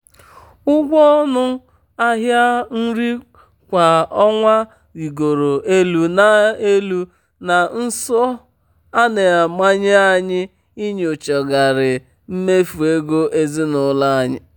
ụgwọ ọnụ ahịa nri kwa ọnwa rịgoro elu na elu na nso a na-amanye anyị inyochagharị mmefu ego ezinụlọ anyị.